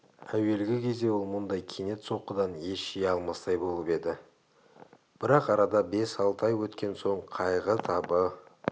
әуелгі кезде ол мұндай кенет соққыдан ес жия алмастай болып еді бірақ арада бес-алты ай еткен соң қайғы табы